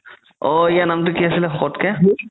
অ ইয়াৰ নামতো কি আছিলে শকতকে